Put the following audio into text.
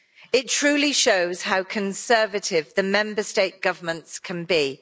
It truly shows how conservative the Member State governments can be.